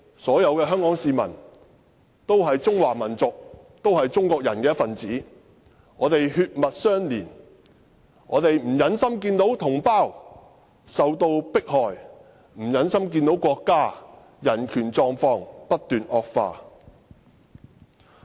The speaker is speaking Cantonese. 所有香港市民都是中華民族的一分子，我們血脈相連，我們不忍心看到同胞受到迫害，也不忍心看到國家的人權狀況不斷惡化。